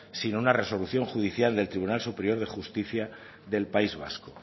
sino una resolución judicial del tribunal superior de justicia del país vasco